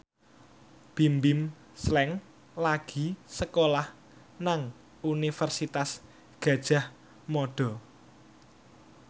Bimbim Slank lagi sekolah nang Universitas Gadjah Mada